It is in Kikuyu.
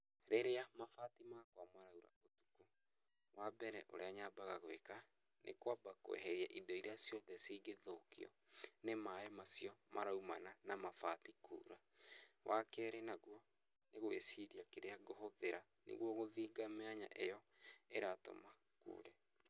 Rĩrĩa mabati makwa maraingĩria mbura, wa mbere ũrĩa nyambaga gwĩka nĩ kwamba kweheria indo iria ciothe cingĩthũkio nĩ maaĩ macio maraumana na mabati kuura. Wakerĩ naguo nĩ gwĩciria kĩrĩa ngũhũthĩra nĩguo gũthinga mĩanya ĩyo ĩratũma kuure.